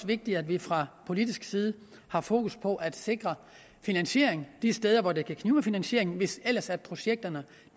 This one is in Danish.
vigtigt at vi fra politisk side har fokus på at sikre finansiering de steder hvor det kan knibe med finansiering hvis ellers projekterne